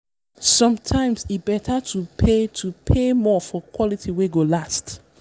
sometimes e better to pay to pay more for quality wey go last.